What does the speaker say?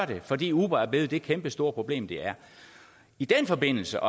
det fordi uber er blevet det kæmpestore problem de er i den forbindelse